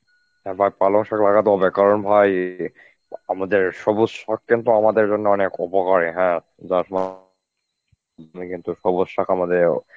এবার পালং শাক লাগাতে হবে কারণ ভাই আমাদের সবুজ শাক কিন্তু আমাদের জন্য অনেক উপকারী হ্যাঁ যার কিন্তু সবুজ শাক আমাদের